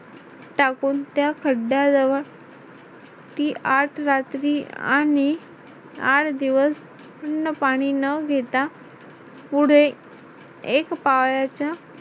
टाकून त्या खड्ड्या जवळ ती आठ रात्री आणि आठ दिवस अन्न, पाणी न घेता पुढे एक पायाच्या